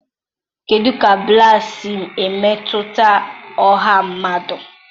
kedụ ka ballads si emetụta ọha mmadụ?